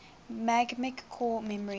magnetic core memory